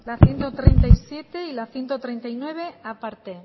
favor la ciento treinta y siete y la ciento treinta y nueve aparte